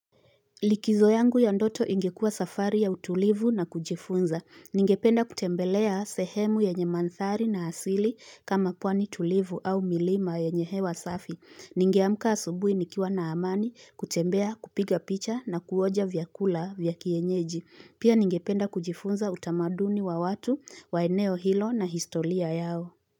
Likizo yangu ya ndoto ingekuwa safari ya utulivu na kujifunza. Ningependa kutembelea sehemu yenye mandhari na asili kama pwani tulivu au milima yenye hewa safi. Ningeamka asubuhi nikiwa na amani kutembea kupiga picha na kuonja vyakula vya kienyeji. Pia ningependa kujifunza utamaduni wa watu, wa eneo hilo na historia yao.